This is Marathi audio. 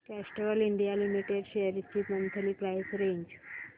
कॅस्ट्रॉल इंडिया लिमिटेड शेअर्स ची मंथली प्राइस रेंज